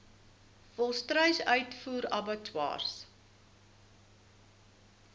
volstruis uitvoer abattoirs